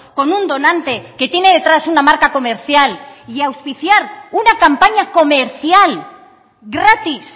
con un donante que tiene detrás una marca comercial y auspiciar una campaña comercial gratis